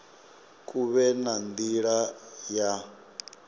hu vhe na nila ya